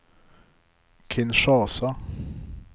Kinshasa